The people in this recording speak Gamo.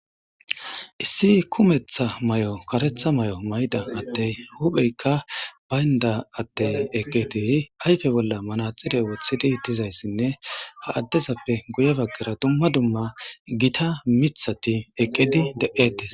Kssi kumetha may'o karetha may'o mayda attey hupheykka baynda atte eqqeti ayfe bolla manaxire wothidi tizayssinne ha addezappe guye baggera dumma dumma gita mithati eqqedi de'ettes.